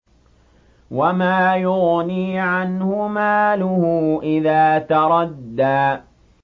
وَمَا يُغْنِي عَنْهُ مَالُهُ إِذَا تَرَدَّىٰ